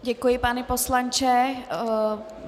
Děkuji, pane poslanče.